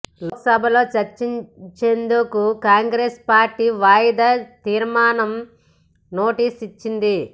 లోక్సభలో చర్చించేందుకు కాంగ్రెస్ పార్టీ వాయిదా తీర్మానం నోటీసు ఇచ్చింది